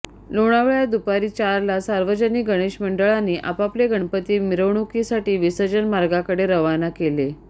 लोणावळ्यात दुपारी चारला सार्वजनिक गणेश मंडळांनी आपापले गणपती मिरवणुकीसाठी विसर्जन मार्गाकडे रवाना केले